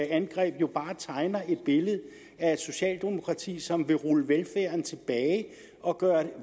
angreb bare tegner et billede af et socialdemokrati som vil rulle velfærden tilbage og gøre